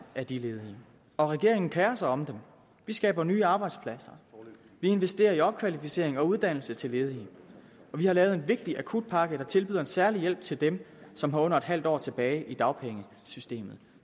af de ledige og regeringen kerer sig om dem vi skaber nye arbejdspladser vi investerer i opkvalificering og uddannelse til ledige og vi har lavet en vigtig akutpakke der tilbyder en særlig hjælp til dem som har under et halvt år tilbage i dagpengesystemet